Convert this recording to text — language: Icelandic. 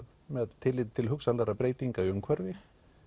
með tilliti til hugsanlegra breytinga í umhverfi